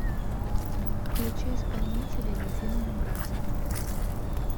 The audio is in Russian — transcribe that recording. включи исполнителя единое братство